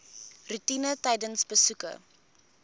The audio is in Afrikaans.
roetine tydens besoeke